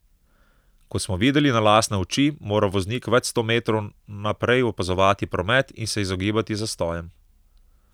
Kot smo videli na lastne oči, mora voznik več sto metrov naprej opazovati promet in se izogibati zastojem.